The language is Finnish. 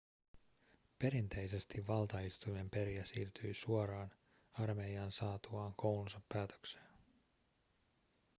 perinteisesti valtaistuimen perijä siirtyi suoraan armeijaan saatuaan koulunsa päätökseen